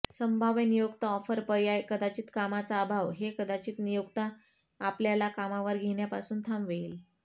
संभाव्य नियोक्ता ऑफर पर्याय कदाचित कामाचा अभाव हे कदाचित नियोक्ता आपल्याला कामावर घेण्यापासून थांबवेल